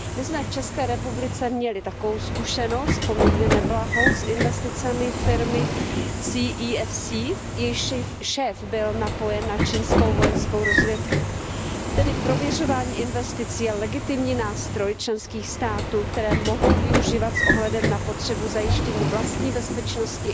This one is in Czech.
My jsme v České republice měli takovou poměrně neblahou zkušenost s investicemi firmy CEFC, jejíž šéf byl napojen na čínskou vojenskou rozvědku. Tedy prověřování investic je legitimní nástroj členských států, který mohou využívat s ohledem na potřebu zajištění vlastní bezpečnosti